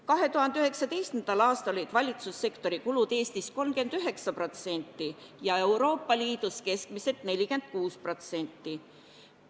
2019. aastal olid valitsussektori kulud Eestis 39% ja Euroopa Liidus keskmiselt 46%.